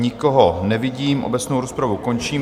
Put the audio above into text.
Nikoho nevidím, obecnou rozpravu končím.